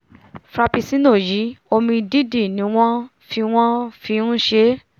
frapuccinno yìí omi-dídì ni wọ́n fi wọ́n fi nṣe é